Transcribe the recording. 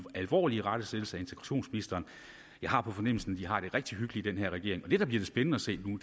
alvorlig irettesættelse af integrationsministeren jeg har på fornemmelsen at de har det rigtig hyggeligt i den her regering og det der bliver det spændende at se nu